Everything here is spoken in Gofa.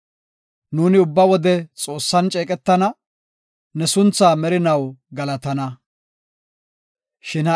Nuuni ubba wode Xoossan ceeqetana; ne sunthaa merinaw galatana. Salaha.